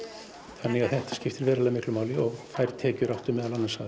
þannig að þetta skiptir verulega miklu máli og þær tekjur áttu meðal annars að